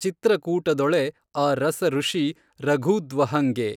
ಚಿತ್ರಕೂಟದೊಳೆ ಆ ರಸಋಷಿ ರಘೂದ್ವಹಂಗೆ.